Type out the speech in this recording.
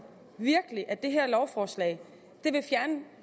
virkelig at det her lovforslag